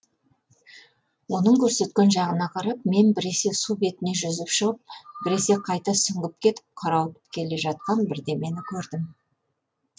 оның көрсеткен жағына қарап мен біресе су бетіне жүзіп шығып біресе қайта сүңгіп кетіп қарауытып келе жатқан бірдемені көрдім